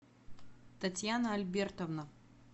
татьяна альбертовна